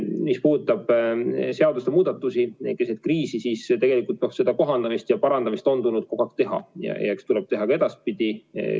Mis puudutab seaduste muutmist keset kriisi, siis tegelikult seda kohendamist ja parandamist on tulnud kogu aeg teha ja eks tuleb teha ka edaspidi.